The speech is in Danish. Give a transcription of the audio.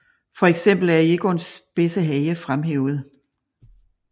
For eksempel er Egons spidse hage fremhævet